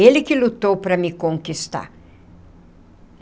Ele que lutou para me conquistar.